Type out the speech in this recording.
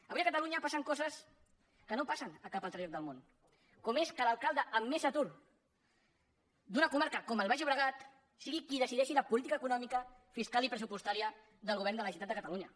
avui a catalunya passen coses que no passen a cap altre lloc de món com és que l’alcalde amb més atur d’una comarca com el baix llobregat sigui qui decideixi la política econòmica fiscal i pressupostària del govern de la generalitat de catalunya